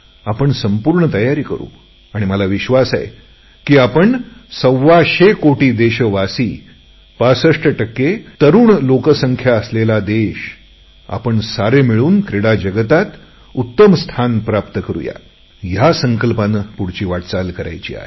आपण संपूर्ण तयारी करु आणि मला विश्वास आहे की आपण सव्वाशे कोटी देशवासीय 65 टक्के युवक लोकसंख्या असलेला देश आपण मिळून क्रीडा जगतात उत्तम स्थिती प्राप्ता करुया या संकल्पाने पुढची वाटचाल करायची आहे